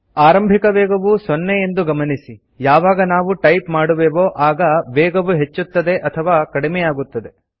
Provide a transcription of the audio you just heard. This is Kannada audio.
ಆರಂಭಿಕ ವೇಗವು ೦ ಎಂದು ಗಮನಿಸಿಯಾವಾಗ ನಾವು ಟೈಪ್ ಮಾಡುವೆವೋ ಆಗ ವೇಗವು ಹೆಚ್ಚುತ್ತದೆ ಅಥವಾ ಕಡಿಮೆಯಾಗುತ್ತದೆ